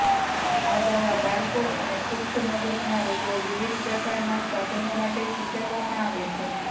આ દવા બાળકો અને પુખ્ત મગજના રોગો વિવિધ પ્રકારના સાધનો માટે સૂચવવામાં આવે છે